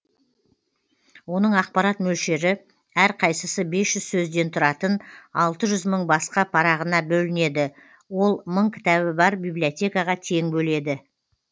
оның ақпарат мөлшері әрқайсысы бес жүз сөзден тұратын алты жүз мың басқа парағына бөлінеді ол мың кітабы бар бибилиотекаға тең бөледі